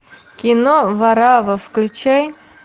кино варавва включай